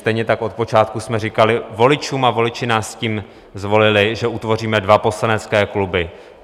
Stejně tak od počátku jsme říkali voličům, a voliči nás s tím zvolili, že utvoříme dva poslanecké kluby.